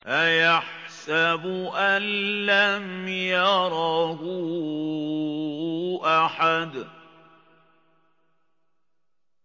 أَيَحْسَبُ أَن لَّمْ يَرَهُ أَحَدٌ